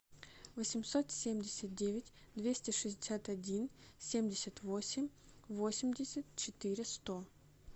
восемьсот семьдесят девять двести шестьдесят один семьдесят восемь восемьдесят четыре сто